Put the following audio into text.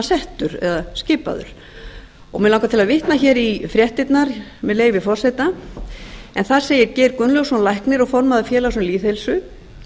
settur eða skipaður mig langar til að vitna í fréttirnar með leyfi forseta en þar segir geir gunnlaugsson læknir og formaður félags um lýðheilsu